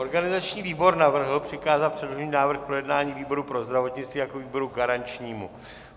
Organizační výbor navrhl přikázat předložený návrh k projednání výboru pro zdravotnictví jako výboru garančnímu.